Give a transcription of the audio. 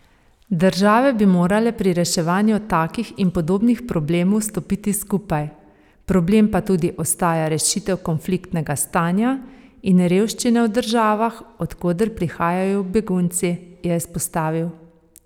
Države bi morale pri reševanju takih in podobnih problemov stopiti skupaj, problem pa tudi ostaja rešitev konfliktnega stanja in revščine v državah, od koder prihajajo begunci, je izpostavil.